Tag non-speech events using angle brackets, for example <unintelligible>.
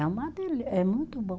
É uma, <unintelligible> é muito bom.